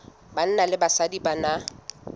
banna le basadi ba na